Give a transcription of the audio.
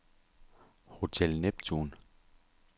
Hotel Neptun